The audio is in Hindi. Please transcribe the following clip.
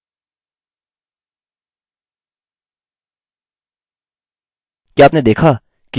क्या आपने देखा कि गलत टाइप किए अक्षर स्टुडेंट लाइन में प्रदर्शित होते हैं यह प्रदर्शित नहीं होते